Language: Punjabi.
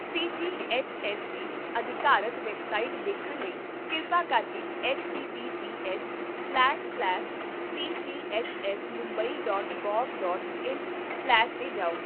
ਸੀ ਜੀ ਐਚ ਐੱਸ ਦੀ ਅਧਿਕਾਰਤ ਵੈੱਬਸਾਈਟ ਦੇਖਣ ਲਈ ਕਿਰਪਾ ਕਰਕੇ ਐੱਚਟੀਟੀਪੀਐੱਸਸਲੈਸ ਸਲੈਸ ਸੀਜੀਐੱਚਐੱਸਮੁਬੰਈ ਡੌਟ ਗੌਵ ਡੌਟ ਇਨ ਸਲੈਸ 'ਤੇ ਜਾਓ